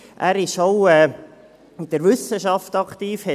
Er ist auch in der Wissenschaft aktiv;